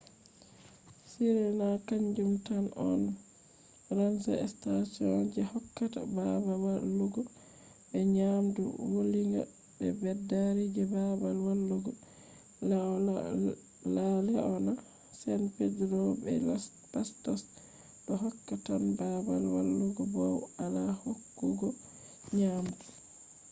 sirena kanjum tan on ranger station je hokkata babal walugo be nyamdu wulinga be beddari je babal walugo. la leona san pedrillo be los patos do hokka tan babal walugo bow ala hokkugo nyamdu